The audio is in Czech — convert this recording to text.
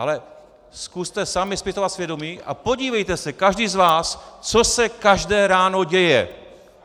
Ale zkuste sami zpytovat svědomí a podívejte se každý z vás, co se každé ráno děje.